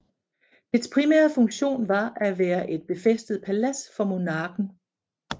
Dets primære funktion var at være et befæstet palads for monarken